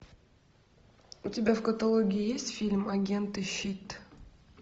у тебя в каталоге есть фильм агенты щит